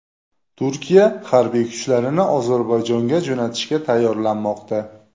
Turkiya harbiy kuchlarini Ozarbayjonga jo‘natishga tayyorlanmoqda.